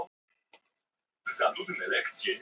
PÁLL: Þér eigið að koma í réttarhald klukkan átta í kvöld.